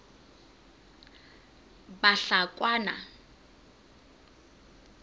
bahlakwana